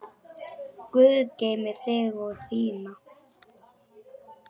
Guð geymi þig og þína.